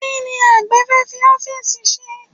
Kí ni àgbẹ̀ fẹ́ fi ọ́fíìsì ṣe?